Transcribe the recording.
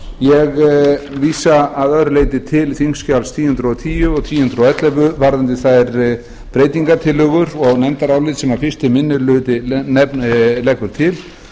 ég vísa að öðru leyti til þingskjala þúsund og tíu og þúsund og ellefu varðandi þær breytingartillögur og nefndarálit sem fyrsti minni hluti leggur til